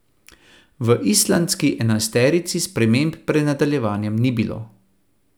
V islandski enajsterici sprememb pred nadaljevanjem ni bilo.